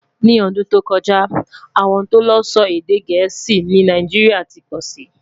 ní ọdún tó kojá, àwọn tó ló sọ èdè gèésì ní Nàìjíríà tí pósí